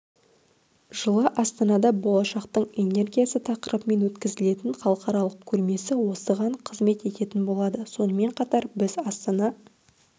жылы астанада болашақтың энергиясы тақырыбымен өткізілетін халықаралық көрмесі осыған қызмет ететін болады сонымен қатар біз астана